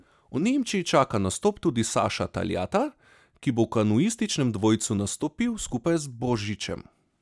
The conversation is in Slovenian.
V Nemčiji čaka nastop tudi Saša Taljata, ki bo v kanuističnem dvojcu nastopil skupaj z Božičem.